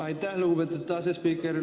Aitäh, lugupeetud asespiiker!